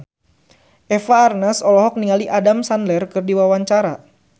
Eva Arnaz olohok ningali Adam Sandler keur diwawancara